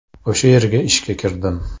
O‘sha yerga ishga kirdim.